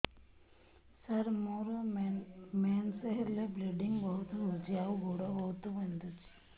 ସାର ମୋର ମେନ୍ସେସ ହେଲେ ବ୍ଲିଡ଼ିଙ୍ଗ ବହୁତ ହଉଚି ଆଉ ଗୋଡ ବହୁତ ବିନ୍ଧୁଚି